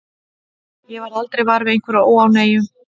Ég varð aldrei var við einhverja óánægju.